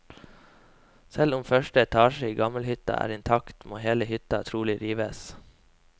Selv om første etasjen i gamlehytta er intakt, må hele hytta trolig rives.